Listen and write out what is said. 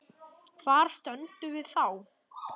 Hvar stöndum við þá?